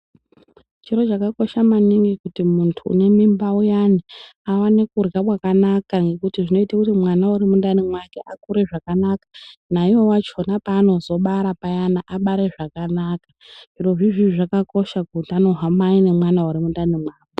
Chiro chakakosha maningi kuti muntu une mimba uyani aone kurya kwakanaka ngekuti zvinoita kuti mwana ari mundani make akure zvakanaka naiwo vacho panozobara payani abare zvakanaka rizvizvi zvakakosha kuti arubanj hiri nemwana Ari mumwiri mwake.